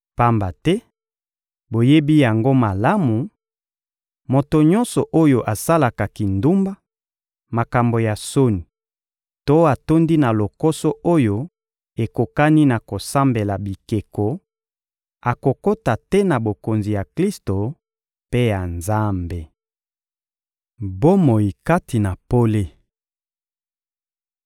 Pamba te, boyeba yango malamu, moto nyonso oyo asalaka kindumba, makambo ya soni to atondi na lokoso oyo ekokani na kosambela bikeko, akokota te na Bokonzi ya Klisto mpe ya Nzambe. Bomoi kati na pole